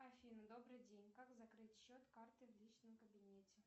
афина добрый день как закрыть счет карты в личном кабинете